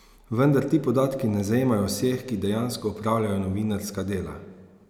Vendar ti podatki ne zajemajo vseh, ki dejansko opravljajo novinarska dela.